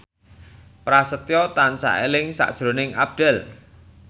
Prasetyo tansah eling sakjroning Abdel